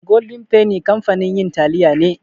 Golden penny kamfanin yin taliya ne.